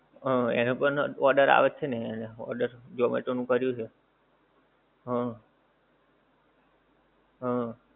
હા એને પણ order આવે છે ને એને order, ઝોમેટો નું કર્યું છે? હં. હં.